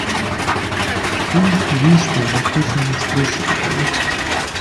фильм убийство в восточном экспрессе покажи